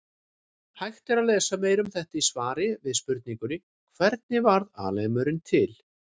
Hægt er að lesa meira um þetta í svari við spurningunni Hvernig varð alheimurinn til?